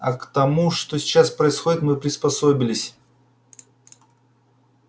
а к тому что сейчас происходит мы приспособились